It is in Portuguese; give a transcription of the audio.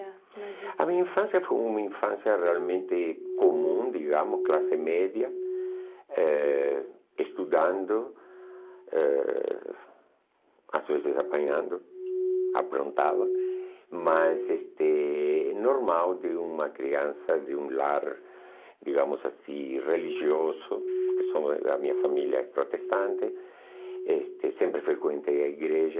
A minha infância foi uma infância realmente comum, digamos, classe média, eh estudando, eh às vezes apanhando, aprontava, mas este é normal de uma criança de um lar, digamos assim, religioso, porque são a minha família é protestante, este sempre frequentei a igreja,